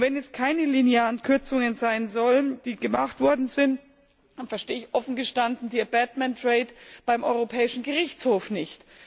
Und wenn es keine linearen Kürzungen sein sollen, die gemacht worden sind, dann verstehe ich offen gestanden die abatement rate beim Europäischen Gerichtshof nicht.